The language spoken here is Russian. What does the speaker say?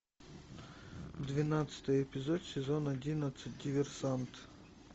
двенадцатый эпизод сезон одиннадцать диверсант